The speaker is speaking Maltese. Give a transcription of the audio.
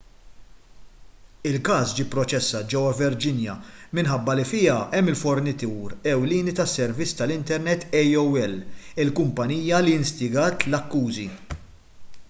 il-każ ġie pproċessat ġewwa virginia minħabba li fiha hemm il-fornitur ewlieni tas-servizz tal-internet aol il-kumpanija li instigat l-akkużi